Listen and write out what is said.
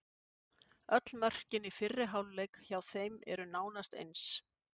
Öll mörkin í fyrri hálfleik hjá þeim eru nánast eins.